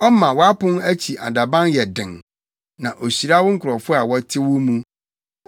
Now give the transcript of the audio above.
ɔma wʼapon akyi adaban yɛ den, na ohyira wo nkurɔfo a wɔte wo mu.